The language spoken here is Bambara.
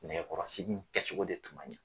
Nɛgɛkɔrɔsigi kɛcogo de tun man ɲɛ.